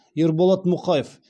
ерболат мұқаев